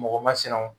Mɔgɔ masinaw